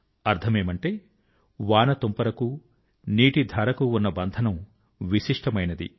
అర్థమేమిటంటే వాన తుంపర కు నీటి ధార కు ఉన్న బంధనం విశిష్టమైనది